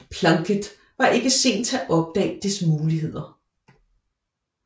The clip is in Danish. Plunkett var ikke sen til at opdage dets muligheder